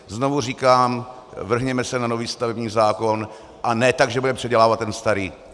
Znovu říkám, vrhněme se na nový stavební zákon, a ne tak, že budeme předělávat ten starý.